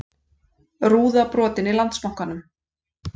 Rúða brotin í Landsbankanum